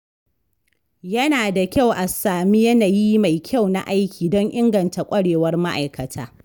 Yana da kyau a sami yanayi mai kyau na aiki don inganta kwarewar ma’aikata.